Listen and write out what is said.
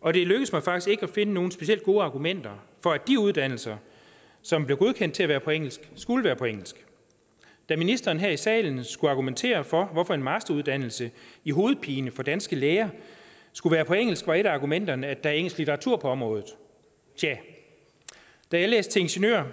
og det lykkedes mig faktisk ikke at finde nogen specielt gode argumenter for at de uddannelser som blev godkendt til at være på engelsk skulle være på engelsk da ministeren her i salen skulle argumentere for at en masteruddannelse i hovedpine for danske læger skulle være på engelsk var et af argumenterne at er engelsk litteratur på området tja da jeg læste til ingeniør